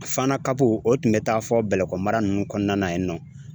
Fana o tun bɛ taa fɔ Bɛlɛkɔ mara ninnu kɔnɔna na yen nɔ